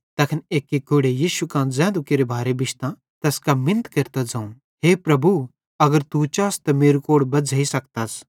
तैखन एक्की कोढ़े यीशु कां ज़ैन्धु केरे भारे बिश्तां तैस कां मिन्नत केरतां ज़ोवं हे प्रभु अगर तू चास त मेरू कोढ़ बज़्झ़ेई सकतस